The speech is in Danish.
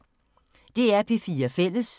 DR P4 Fælles